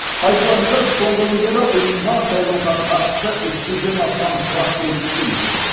айтуларынша соңғы күндері ұйымға сайлауға қатысты үш жүзден астам сұрақ келіп түскен екен